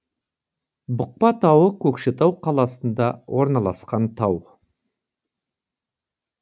бұқпа тауы көкшетау қаласында орналасқан тау